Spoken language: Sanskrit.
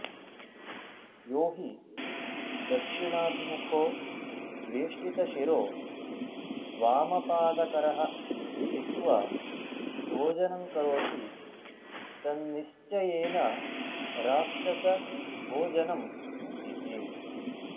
यो हि दक्षिणाभिमुखो वेष्टितशिरो वामपाद करः स्थित्वा भोजनं करोति तन्निश्चयेन राक्षसभोजनमिति